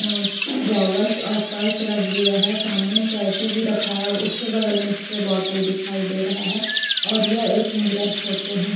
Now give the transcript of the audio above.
यहाँ गॉगल्स और पर्स रख दिया है सामने में कैंची भी रखा है और उसके बगल में स्प्रे बॉटल दिखाई दे रहा है और यह एक मिरर फोटो है।